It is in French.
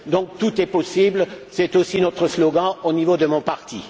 Donc tout est possible, et c'est aussi notre slogan au niveau de mon parti.